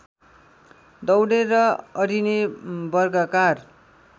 दौडेर अडिने वर्गाकार